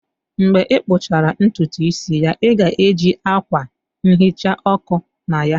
Mgbe ị kpụchara ntutu isi ya, ị ga-eji akwa nhicha ọkụ na ya?